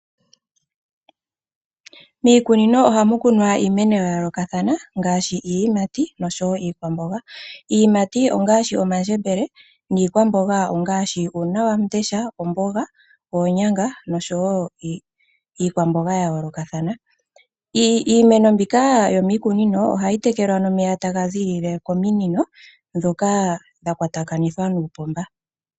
Miikunino ohamu kunwa iimeno ya yoolokathana ngaashi iiyimati oshowo iikwamboga . Iiyimati ongaashi omandjebele. Niikwamboga ongaashi uuna wamundesha, omboga, onyanga nosho iikwamboga ya yoolokathana. Iimeno mbika yomiikunino ohayi tekelwa nomeya tagazi kominino ndhoka dha kwatama nuupomba.